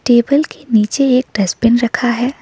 Table के नीचे एक डस्टबिन रखा है।